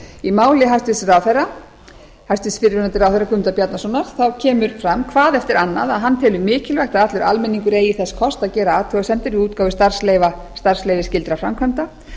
í máli hæstvirts fyrrverandi ráðherra guðmundar bjarnasonar kemur fram hvað eftir annað að hann telur mikilvægt að allur almenningur eigi þess kost að gera athugasemdir við útgáfu starfsleyfa starfsleyfisskyldra framkvæmda